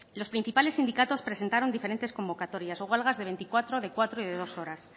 los principales sindicatos presentaron diferentes convocatorias o huelgas de veinticuatro de cuatro y de dos horas